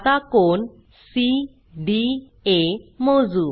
आता कोन सीडीए मोजू